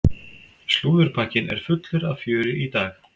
Slúðurpakkinn er fullur af fjöri í dag.